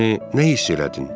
Yəni nə hiss elədin?